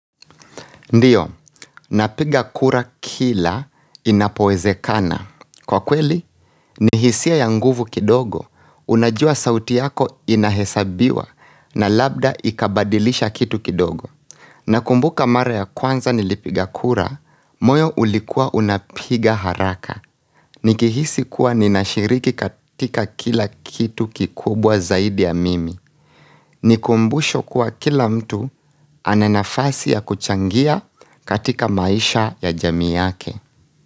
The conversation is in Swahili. Ndiyo, napiga kura kila inapowezekana. Kwa kweli, ni hisia ya nguvu kidogo, unajua sauti yako inahesabiwa na labda ikabadilisha kitu kidogo. Nakumbuka mara ya kwanza nilipiga kura, moyo ulikua unapiga haraka. Nikihisi kuwa ninashiriki katika kila kitu kikubwa zaidi ya mimi. Ni kumbusho kwa kila mtu ananafasi ya kuchangia katika maisha ya jami yake.